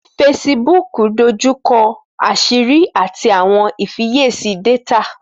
Facebook dójúkọ̀ àṣìrí ati awọn ìfíyèsí dátà.